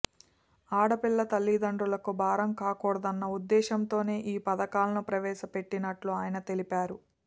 ఆడపిల్ల తల్లిదండ్రులకు భారం కాకూడదన్న ఉద్దేశంతోనే ఈ పథకాలను ప్రవేశపెట్టినట్టు ఆయన తెలిపారు